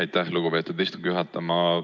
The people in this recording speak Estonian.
Aitäh, lugupeetud istungi juhataja!